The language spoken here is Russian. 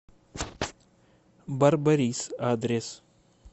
барбарис адрес